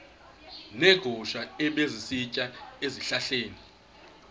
neegusha ebezisitya ezihlahleni